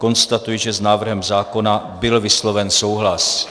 Konstatuji, že s návrhem zákona byl vysloven souhlas.